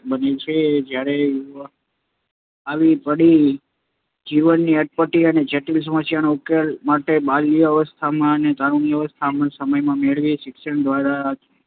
બને છે. જ્યારે યુવાકાળમાં સામે આવી પડતી જીવનની અટપટી અને જટિલ સમાસ્યાઓના ઉકેલ માટે બાલ્યવસ્થાના અને તારુણ્યવસ્થાના સમયમાં મેળવેલ શિક્ષણ દ્વારા